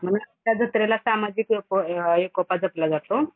ह्या जत्रेला सामाजिक एको अ एकोपा जपला जातो.